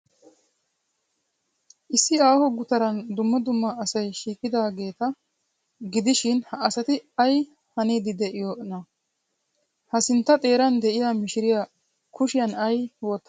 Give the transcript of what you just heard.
Issi aaho gutaran dumma dumma asay shiiqidaageeta gidishin, ha asati ay haniiddi de'iyoonaa? Ha sintta xeeran de'iya mishiriyaa kushiyan ay wottadee?